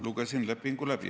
Lugesin lepingu läbi.